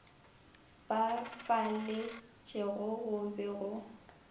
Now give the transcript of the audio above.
ba faletšego go be go